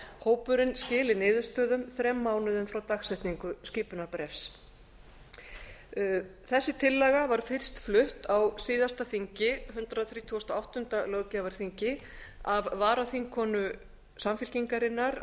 hópurinn skili niðurstöðum þrem mánuðum frá dagsetningu skipunarbréfs þessi tillaga var fyrst flutt á síðasta þingi hundrað þrítugasta og áttunda löggjafarþingi af varaþingkonu samfylkingarinnar